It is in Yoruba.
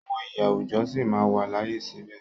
Àwọn iyì àwùjọ sí máa wà láàyè síbẹ̀.